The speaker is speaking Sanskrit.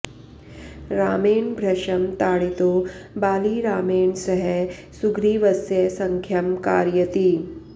रामेण भृशं ताडितो बाली रामेण सह सुग्रीवस्य सख्यं कारयति